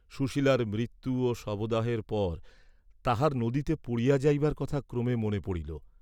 সুশীলার মৃত্যু ও শবদাহের পর তাহার নদীতে পড়িয়া যাইবার কথা ক্রমে মনে পড়িল।